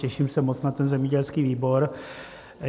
Těším se moc na ten zemědělský výbor.